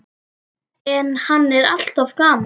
En hann er alltaf gamall.